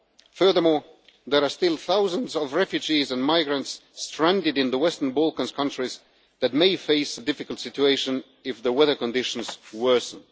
Furthermore, there are still thousands of refugees and migrants stranded in the Western Balkan countries that may face a difficult situation if the weather conditions worsen.